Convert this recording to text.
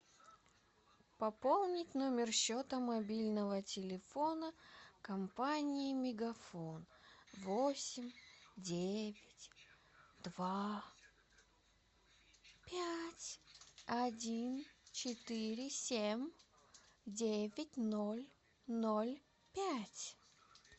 пополнить номер счета мобильного телефона компании мегафон восемь девять два пять один четыре семь девять ноль ноль пять